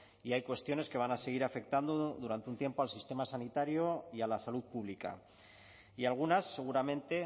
y hay cuestiones que van a seguir afectando durante un tiempo al sistema sanitario y a la salud pública y algunas seguramente